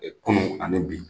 Kunnu ani bi.